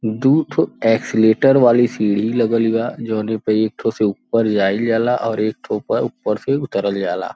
दू ठो एक्सेलेटर वाली सीढ़ी लगल बा जोनो पे एक ठो से ऊपर जाईल जाला और एक ठो पर ऊपर से उतरल जाला।